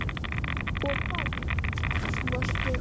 Og hvað svo, spyr hún.